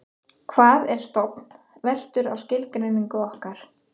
hvað er stofn veltur á skilgreiningu okkar